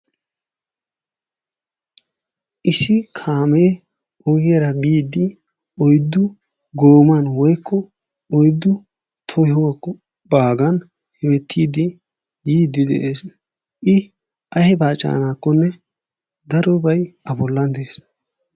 Issi kaamee ogiyara biiddi oyddu gooman/oyddu tohokko baagan hemettiiddi yiiddi de'ees. I aybaa caanaakkonne darobay A bollan de'ees.